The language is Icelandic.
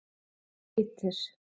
Beitir